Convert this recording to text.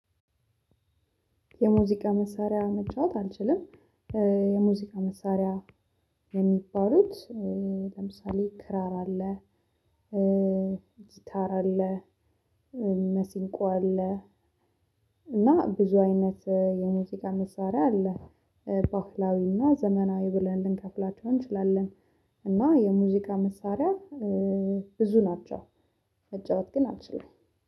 የሙዚቃ መሳሪያ መጫወት አልችልም። የሙዚቃ መሳሪያ የሚባሉት ለምሳሌ ክራር አለ። ጊታር አለ። መሲንቆ አለ። እና ብዙ አይነት የሙዚቃ መሳሪያ አለ። ባህላዊና ዘመናዊ ብለን ልንከፍላቸው እንችላለን። እና የሙዚቃ መሳሪያ ብዙ ናቸው። መጫወት ግን አልችሉም